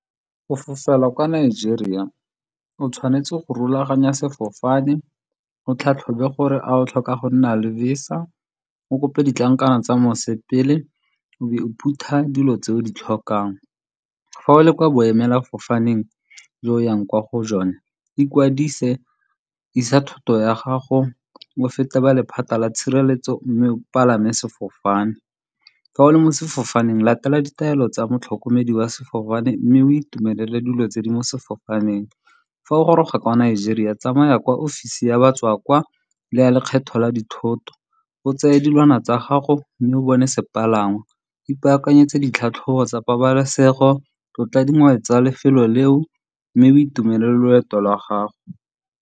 Go fofela kwa Nigeria o tshwanetse go rulaganya sefofane, o tlhatlhobe gore a o tlhoka go nna le VISA, o kope ditlankana tsa mosepele, o be o phutha dilo tse o di tlhokang. Fa o le kwa boemelafofaneng jo o yang kwa go jone, ikwadise, isa thoto ya gago, o fete ba lephata la tshireletso mme o palame sefofane. Fa o le mo sefofaneng latela ditaelo tsa motlhokomedi wa sefofane mme o itumelele dilo tse di mo sefofaneng. Fa o goroga kwa Nigeria, tsamaya kwa ofisi ya batswa kwa le ya lekgetho la dithoto, o tseye dilwana tsa gago mme o bone sepalangwa. Ipaakanyetse ditlhatlhobo tsa pabalesego, tlotla dingwe tsa lefelo leo mme o itumelele loeto la gago.